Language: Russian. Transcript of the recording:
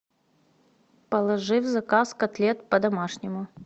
положи в заказ котлет по домашнему